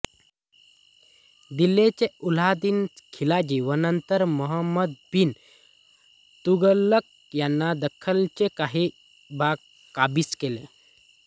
दिल्लीचे अल्लाउद्दीन खिलजी व नंतर मोहंमद बिन तुघलक यांनी दख्खनचे काही भाग काबीज केले